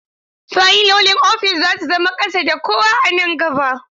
Fayilolin ofis za su zama ƙasa da kowa a nan gaba.